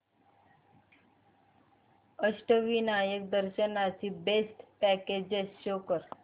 अष्टविनायक दर्शन ची best packages show कर